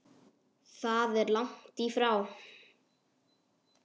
Það er langt í frá.